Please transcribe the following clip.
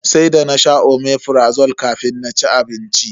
Sai da nasha Omeprazole kafin na ci abinci.